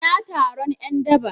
Ina taron ’yan daba?